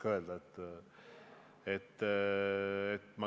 Ma ei oska öelda.